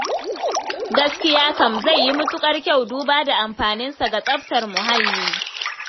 Gaskiya kam, zai yi matuƙar kyau duba da amfaninsa ga tsaftar muhalli.